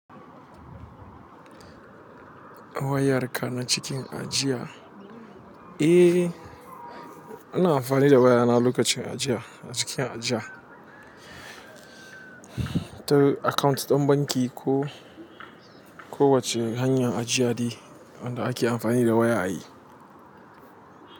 Wayarka na cikin ajiya? Eh, ina amfani da wayana lokacin ajiya, cikin ajiya. Ta account ɗin banki ko, kowacce hanyar ajiya dai wanda ake amfani da waya ayi.